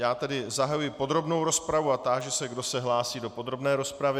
Já tedy zahajuji podrobnou rozpravu a táži se, kdo se hlásí do podrobné rozpravy.